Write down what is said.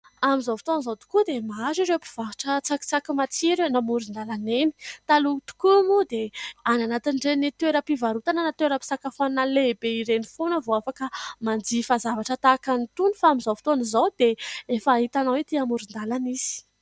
Amin'izao fotoana izao tokoa dia maro ireo mpivarotra tsakisaky matsiro eny amoron-dalana eny. Taloha tokoa moa dia any anatin'ireny toeram-pivarotana na toeram-pisakafoanana lehibe ireny foana vao afaka manjifa zavatra tahaka an'itony. Fa amin'izao fotoana izao dia efa hitanao etỳ amoron-dalana izy.